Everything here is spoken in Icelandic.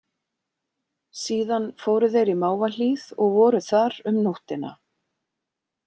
Síðan fóru þeir í Mávahlíð og voru þar um nóttina.